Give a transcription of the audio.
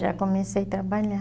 Já comecei a trabalhar.